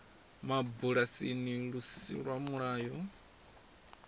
mabulasini lu si lwa mulayo